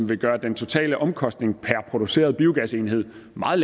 vil gøre den totale omkostning per produceret biogasenhed meget